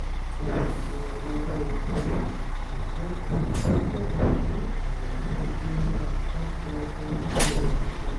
òkè owó epo lójijì mú olùdókòwò tún àyèwò ewú àkájọ owó wọn ṣe